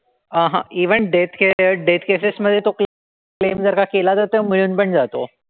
अंहं even death care death cases मधे तो claim जर का केला जातो, मिळून पण जातो.